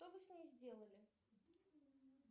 что вы с ней сделали